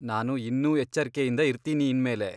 ನಾನು ಇನ್ನೂ ಎಚ್ಚರ್ಕೆಯಿಂದ ಇರ್ತೀನಿ ಇನ್ಮೇಲೆ.